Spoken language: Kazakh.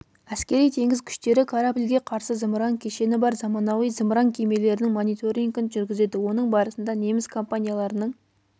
әскери-теңіз күштері корабльге қарсы зымыран кешені бар заманауи зымыран кемелерінің мониторингін жүргізеді оның барысында неміс компанияларының